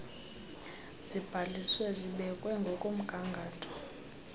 zibhaliswe zibekwe ngokomgangatho